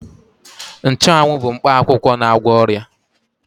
Nchụawụ bu mkpa akwụkwọ na-agwọ ọrịa.